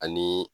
Ani